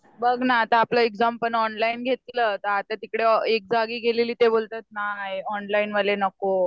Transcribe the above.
बघ ना आता आपलं एक्झाम पण ऑनलाईन घेतलं तर आता तिकडे एक जागी गेलेली ना तर तिकडं बोलतात नाही ऑनलाईनवाले नको.